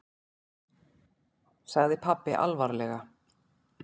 sagði pabbi alvarlega.